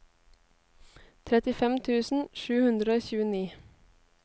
trettifem tusen sju hundre og tjueni